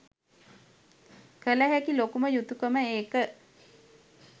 කළ හැකි ලොකුම යුතුකම ඒක.